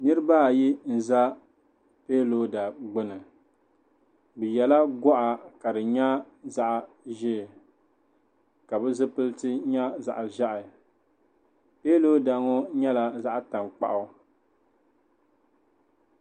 Niriba ayi n-za kiyalooda gbuni bɛ yela gɔɣa ka di nyɛ zaɣ'ʒee ka bɛ zipiliti nyɛ zaɣ'ʒɛhi kiyalooda ŋɔ nyɛla zaɣ'tankpaɣu.